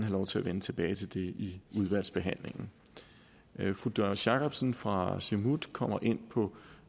lov til at vende tilbage til det i udvalgsbehandlingen fru doris jakobsen fra siumut kommer ind på